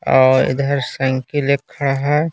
और इधर संकी लिख रहा है।